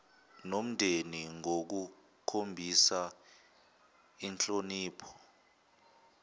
nomndeni ngokukhombisa inhlonipho